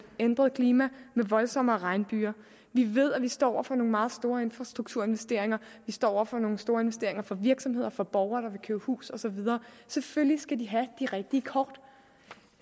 ændret klima med voldsommere regnbyger vi ved at vi står over for nogle meget store infrastrukturinvesteringer vi står over for nogle store investeringer for virksomheder for borgere der vil købe hus osv og selvfølgelig skal de have de rigtige kort